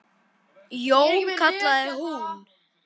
Jón, kallaði hún.